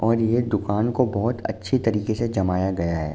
और ये दुकान को बोहोत अच्छी तरीके से जमाया गया है।